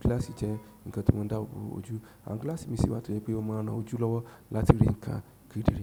Gílàsì jẹ́ nkan tí ó má ń dáàbò bo ojú, àwọn gílàsì mi sì wa to je pé ó máa n ran ojú lọ́wọ́ láti rí ǹkan kedere.